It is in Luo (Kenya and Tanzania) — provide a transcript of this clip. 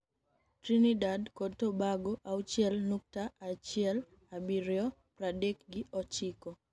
Trinidad kod Tobago (auchiel nukta achiel abirio) pradek gi ochiko.